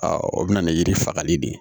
o bɛ na ni yiri fagali de ye